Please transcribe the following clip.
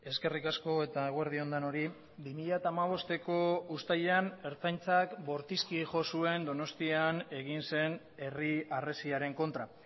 eskerrik asko eta eguerdi on denoi bi mila hamabosteko uztailean ertzaintzak bortizki jo zuen donostian egin zen herri harresiaren kontra